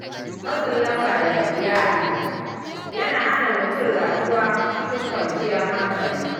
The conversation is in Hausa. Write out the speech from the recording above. Matsin lamba daga iyali yana hana mutum rayuwa cikin kwanciyar hankali.